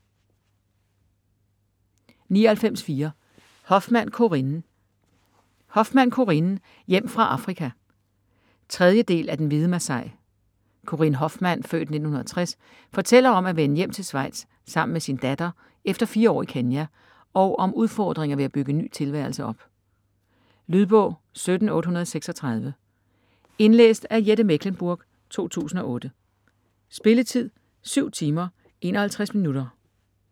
99.4 Hofmann, Corinne Hofmann, Corinne: Hjem fra Afrika 3. del af Den hvide masai. Corinne Hofmann (f. 1960) fortæller om at vende hjem til Schweiz sammen med sin datter efter fire år i Kenya, og om udfordringer ved at bygge en ny tilværelse op. Lydbog 17836 Indlæst af Jette Mechlenburg, 2008. Spilletid: 7 timer, 51 minutter.